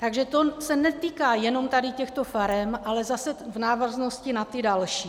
Takže to se netýká jenom tady těchto farem, ale zase v návaznosti na ty další.